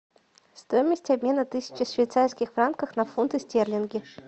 стоимость обмена тысячи швейцарских франков на фунты стерлинги